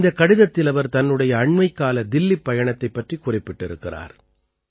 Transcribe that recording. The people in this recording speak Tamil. இந்தக் கடிதத்தில் அவர் தன்னுடைய அண்மைக்கால தில்லிப் பயணத்தைப் பற்றிக் குறிப்பிட்டிருக்கிறார்